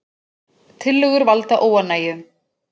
Tillögur valda óánægju